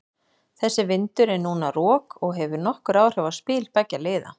Þessi vindur er núna rok og hefur nokkur áhrif á spil beggja liða.